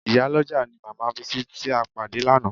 Ìyálọ́jà ni màmá Bísí tí a pàdé lánàá